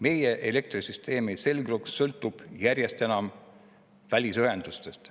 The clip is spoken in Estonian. Meie elektrisüsteemi selgroog sõltub järjest enam välisühendustest.